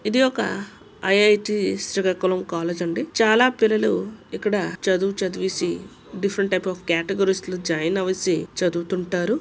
ఇది ఒక I I T Srikakulam college అండి చాలా పిల్లలు ఇక్కడ చదువు చదివేసి డిఫరెంట్ టైప్స్ ఆఫ్ క్యాటగిరి లో జాయిన్ వేసి చదువుతుంటారు.